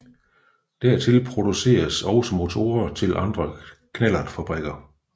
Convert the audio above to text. Dertil produceredes også motorer til andre knallertfabrikker